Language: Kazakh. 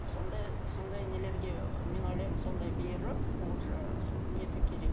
сондай сондай нелерге мен ойлаймын сондай беріп уже нету керек